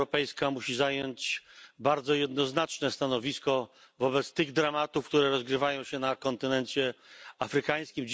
Unia Europejska musi zająć bardzo jednoznaczne stanowisko wobec tych dramatów, które rozgrywają się na kontynencie afrykańskim.